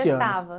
anos.